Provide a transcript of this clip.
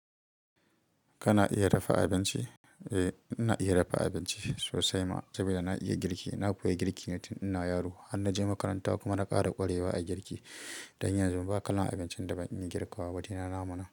Kana iya dafa abinci? Eh ina iya dafa abinci sosai ma sabida na iya girki. Na koya girkine tin ina yaro har na je makaranta kuma na ƙara ƙwarewa a girki. Dan yanzu ba kalan abincin da ban iya girka wa ba shine naman.